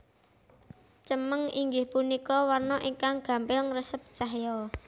Cemeng inggih punika warna ingkang gampil ngresep cahya